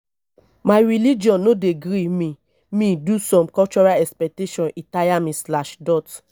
my religion no dey gree me me do some cultural expectations e tire me slash dot